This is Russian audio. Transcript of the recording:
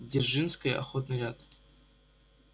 дзержинской охотный ряд